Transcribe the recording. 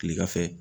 Kilegan fɛ